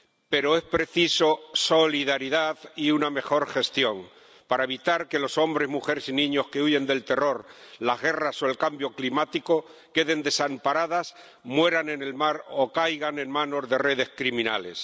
Pero se precisan solidaridad y una mejor gestión para evitar que los hombres, mujeres y niños que huyen del terror, las guerras o el cambio climático queden desamparados, mueran en el mar o caigan en manos de redes criminales.